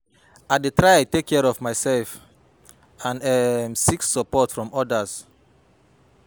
i dey try to take care of myself and um seek support from odas.